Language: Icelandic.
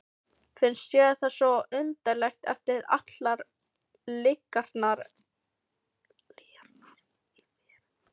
Finnst þér það svo undarlegt eftir allar lygarnar í þér?